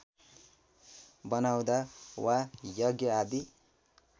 बनाउँदा वा यज्ञ आदि